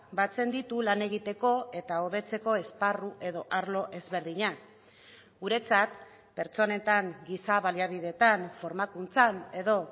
batzen ditu lan egiteko eta hobetzeko esparru edo arlo ezberdinak guretzat pertsonetan gisa baliabidetan formakuntzan edo